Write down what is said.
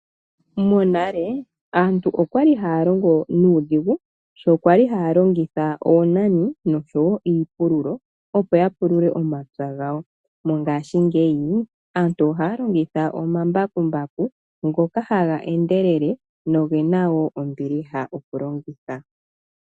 Monale aantu okwali haya longo nuudhigu sho kwali haya longitha oonani nosho wo iipululo opo ya pulule omapya gawo. Mongashingeyi aantu ohaya longitha omambakumbaku ngoka haga endelele nogena ombiliha okulongitha.